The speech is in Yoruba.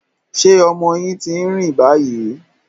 Ṣé ọmọ yín ti ń rá báyìí?